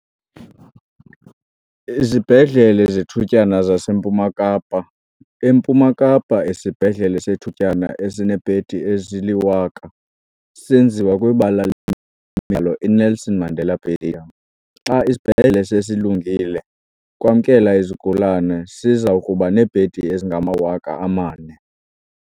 Izibhedlele zethutyana zaseMpuma Kapa. EMpuma Kapa, isibhedlele sethutyana esineebhedi ezili-1 000 senziwa kwibala lemidlalo i-Nelson Mandela Bay Stadium. Xa isibhedlele sesilungile ukwamkela izigulane, siza kuba neebhedi ezingama-4 000.